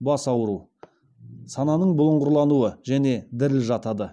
бас ауыру сананың бұлыңғырлануы және діріл жатады